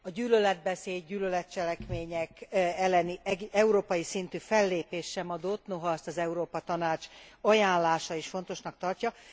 A gyűlöletbeszéd, gyűlöletcselekmények elleni európai szintű fellépés sem adott, noha azt az Európa Tanács ajánlása is fontosnak tartja.